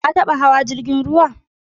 Ka taba hawa jirgin ruwa?